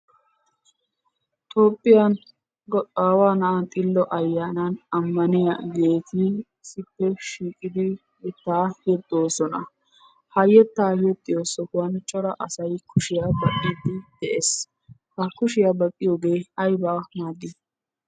Toophphiyan aawa na'a xillo ayaanan ammaniyagetti issippe shiiqqidi yettaa yexxoosona. Ha yettaa yexxiyo sohuwan cora asati kushshiya baqqidi de'ees. Ha kushshiyaa baqqiyogge ayba maadi?